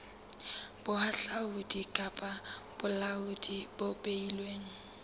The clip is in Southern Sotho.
bohahlaudi kapa bolaodi bo beilweng